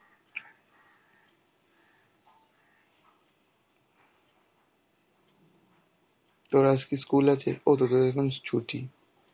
তোর আজকে school আছে? ও তোদের এখন ছুটি.